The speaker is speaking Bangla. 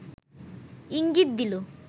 ইঙ্গিত দিল